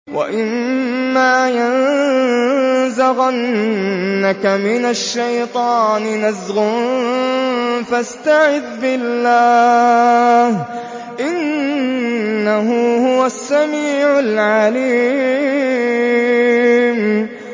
وَإِمَّا يَنزَغَنَّكَ مِنَ الشَّيْطَانِ نَزْغٌ فَاسْتَعِذْ بِاللَّهِ ۖ إِنَّهُ هُوَ السَّمِيعُ الْعَلِيمُ